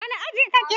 Wani aji ka ke?